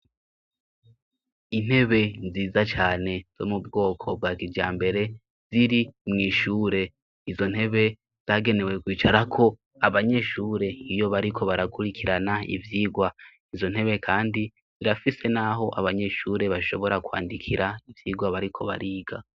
Intebe nziza cane zo mu bwoko bwa kijambere ziri mw'ishure. Izo ntebe zagenewe kwicarako abanyeshure iyo bariko barakurikirana ivyigwa. Izo ntebe kandi zirafise n'aho abanyeshure bashobora kwandikira ivyigwa bariko bariga.